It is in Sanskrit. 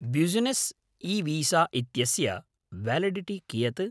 ब्युसिनेस् ईवीसा इत्यस्य व्यालिडिटि कियत्?